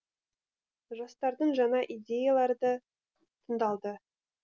жастардың жаңа идеялары да тыңдалды